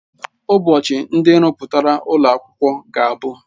Ụbọchị ndị nrụpụta ụlọ akwụkwọ ga-abụ.